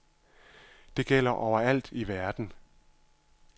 Det gælder over alt i verden.